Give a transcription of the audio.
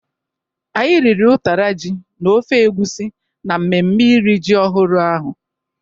Anyị riri utara ji na ofe egusi na mmemme iri ji ọhụrụ ahụ.